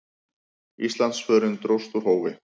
Íslandsförin dróst úr hófi.